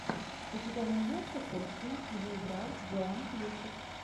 у тебя найдется кости где играл джоан кьюсак